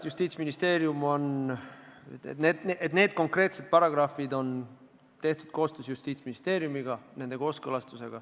Ma tean öelda seda, et need konkreetsed paragrahvid on tehtud koostöös Justiitsministeeriumiga.